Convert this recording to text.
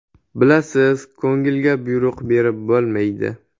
Bilasiz, ko‘ngilga buyruq berib bo‘lmaydi.